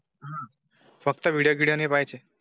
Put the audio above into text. फक्त व्हिडिओ गाणी पाहिजे.